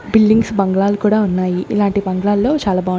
Buildings బాంగ్లలు కూడా ఉన్నాయి.